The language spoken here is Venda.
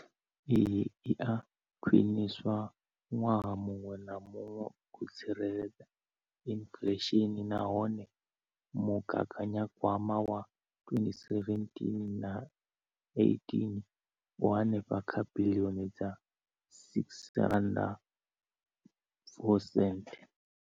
Iyi i a khwiniswa ṅwaha muṅwe na muṅwe u tsireledza inflesheni nahone mugaganyagwama wa 2017 na 18 u henefha kha biḽioni dza R6.4.